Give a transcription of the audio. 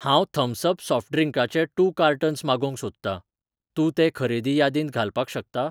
हांव Thums Up soft ड्रिंकाचे two cartons मागोवंक सोदतां, तूं तें खरेदी यादींत घालपाक शकता?